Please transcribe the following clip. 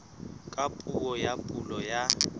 ka puo ya pulo ya